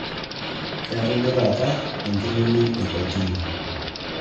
Keetae duo taata enkining' e kotini